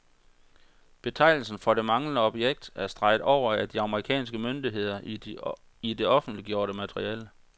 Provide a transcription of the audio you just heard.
Betegnelsen for det manglende objekt er streget over af de amerikanske myndigheder i det offentliggjorte materiale.